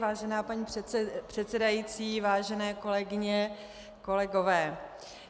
Vážená paní předsedající, vážené kolegyně, kolegové.